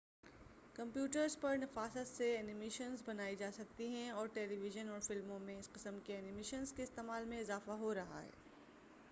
computers پر نفاست سے اینیمیشنز بنائی جا سکتی ہیں اور ٹیلی ویژن اور فلموں میں اس قسم کی اینیمیشنز کے استعمال میں اضافہ ہو رہا ہے